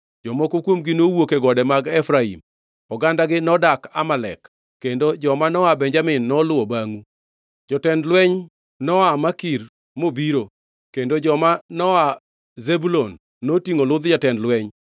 Jomoko kuomgi nowuok e gode mag Efraim, ogandagi nodak Amalek, kendo joma noa Benjamin noluwo bangʼu. Jotend lweny noa Makir nobiro, kendo joma noa Zebulun notingʼo ludh jatend lweny.